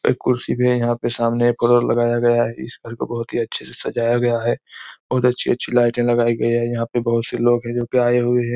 एक कुर्सी में सामने यहाँ एक लगाया गया है इस को बहुत अच्छे से सजाया गया है और अच्छी अच्छी लाइटे लगाई गई है यहाँ पे बहुत से लोग है जोकि आए हुए हैं।